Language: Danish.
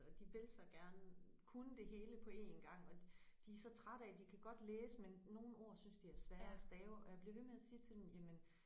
Og de vil så gerne kunne det hele på én gang og de de så trætte af de kan godt læse men nogle ord synes de er svære at stave og jeg bliver ved med at sige til dem jamen